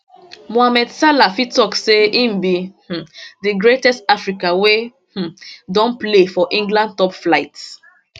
mohamed salah fit tok say im be um di greatest african wey um don play for england top flight